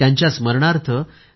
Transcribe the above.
त्यांच्या स्मरणार्थ दि